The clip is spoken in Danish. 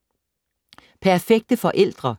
Perfekte forældre?